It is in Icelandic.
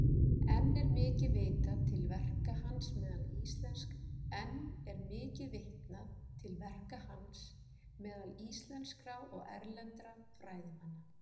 Enn er mikið vitnað til verka hans meðal íslenskra og erlendra fræðimanna.